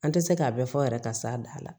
An tɛ se k'a bɛɛ fɔ yɛrɛ ka s'a dan na